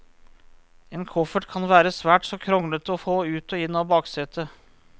En koffert kan være svært så kronglete å få ut og inn av baksetet.